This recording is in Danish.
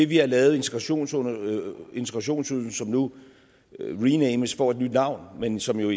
vi har lavet integrationsydelsen integrationsydelsen som nu renames får et nyt navn men som jo